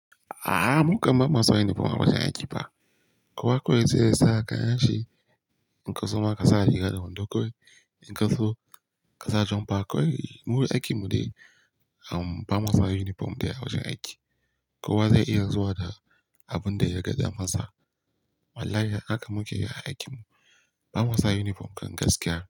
A'a, mu kam ba mu sa uniform a wajen aiki fa. Kowa kawai zai sa kayan shi. In ka so ma ka sa riga da wando kawai. In ka so ka sa jumper kawai. Mu aiki mu dai bamusa uniform daya a wajen aiki. Kowa zai iya zuwa da abin da ya ga damansa. Wallahi haka muke yi a aikin mu. Bamusa uniform kan gaskiya.